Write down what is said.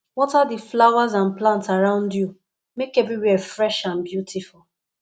water the flowers and plants around you make everywhere fresh and beautiful